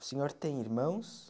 O senhor tem irmãos?